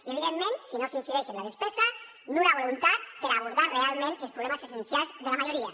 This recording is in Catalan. i evidentment si no s’incideix en la despesa nul·la la voluntat per abordar realment els problemes essencials de la majoria